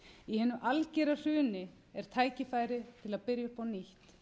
í hinu algera hruni er tækifæri til að byrja upp á nýtt